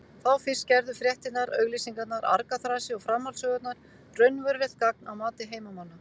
Þá fyrst gerðu fréttirnar, auglýsingarnar, argaþrasið og framhaldssögurnar raunverulegt gagn að mati heimamanna.